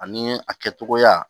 Ani a kɛcogoya